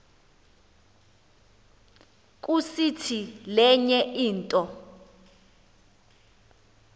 kusiti lenye into